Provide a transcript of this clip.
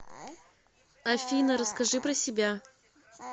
афина расскажи про себя